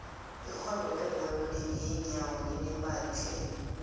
irhwebo lebhola yeenyawo linemali tlhe